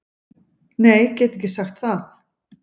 Nei get ekki sagt það.